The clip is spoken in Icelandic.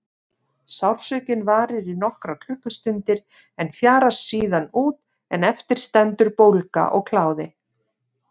Sársaukinn varir í nokkrar klukkustundir en fjarar síðan út en eftir stendur bólga og kláði.